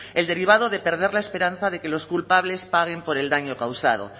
el derivado de perder la esperanza de que los culpables paguen por el daño causado